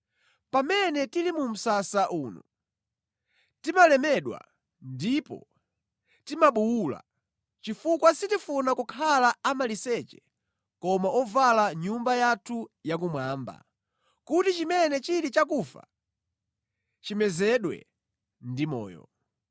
Pamene tili mu msasa uno, timalemedwa ndipo timabuwula, chifukwa sitifuna kukhala amaliseche koma ovala nyumba yathu ya kumwamba, kuti chimene chili chakufa chimezedwe ndi moyo.